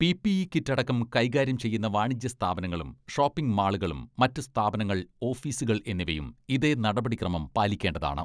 PPE kit അടക്കം കൈകാര്യം ചെയ്യുന്ന വാണിജ്യ സ്ഥാപനങ്ങളും, ഷോപ്പിംഗ് മാളുകളും, മറ്റ് സ്ഥാപനങ്ങൾ, ഓഫീസുകൾ എന്നിവയും ഇതേ നടപടിക്രമം പാലിക്കേണ്ടതാണ്.